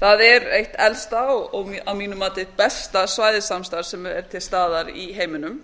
það er eitt elsta og að mínu mati besta svæðissamstarf sem er til staðar í heiminum